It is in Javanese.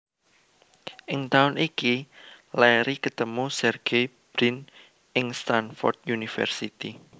Ing taun iki Larry ketemu Sergey Brin ing Stanford University